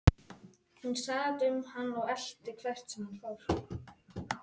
Hver myndi svo sem trúa mér?